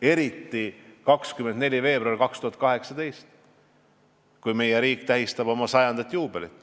Eriti tehti seda 24. veebruaril 2018, kui meie riik tähistas oma 100 aasta juubelit.